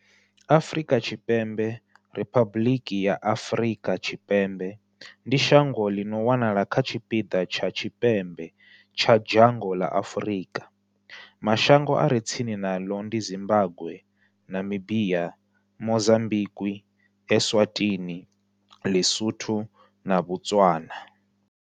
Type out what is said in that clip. Afrika Tshipembe, Riphabuḽiki ya Afrika Tshipembe ndi shango ḽi no wanala kha tshipiḓa tsha tshipembe tsha dzhango ḽa Afurika. Mashango a re tsini naḽo ndi Zimbagwe, Namibia, Mozambikwi, Eswatini, Lisotho na Botswana.